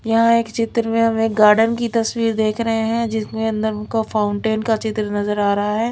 यहां एक चित्र में हम एक गार्डन की तस्वीर देख रहे है जिसमें अंदर उनको फाउंटेन का चित्र नजर आ रहा है।